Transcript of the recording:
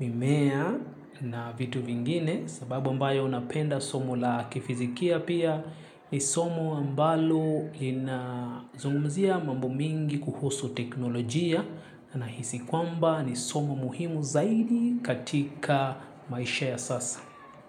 mimea na vitu vingine. Sababu ambayo napenda somo la kifizikia pia ni somo ambalo inazungumzia mambo mengi kuhusu teknolojia nahisi kwamba ni somo muhimu zaidi katika maisha ya sasa.